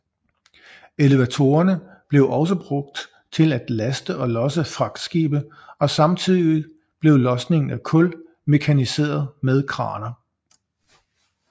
Elevatorerne blev også brugt til at laste og losse fragtskibe og samtidig blev losningen af kul mekaniseret med kraner